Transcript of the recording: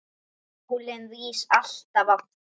Sólin rís alltaf aftur.